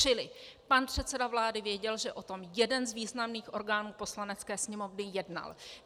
Čili pan předseda vlády věděl, že o tom jeden z významných orgánů Poslanecké sněmovny jednal.